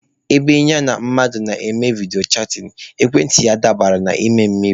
Ebe ya na mmadụ na-eme vidiyo chatịn, ekwentị ya adabanye n'ime mmiri.